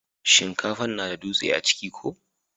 shinkafan na da dutse a ciki ko?